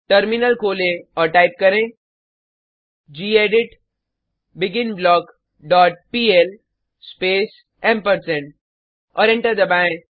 terminal खोलें और type करें gedit begin block dot PL space ampersand और एंटर दबाएँ